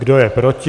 Kdo je proti?